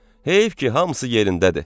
Heyf ki, hamısı yerindədir.